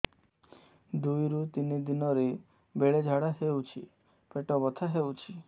ଦୁଇରୁ ତିନି ଦିନରେ ବେଳେ ଝାଡ଼ା ହେଉଛି ପେଟ ବଥା ହେଉଛି